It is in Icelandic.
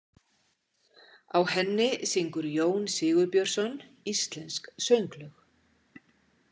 Á henni syngur Jón Sigurbjörnsson íslensk sönglög.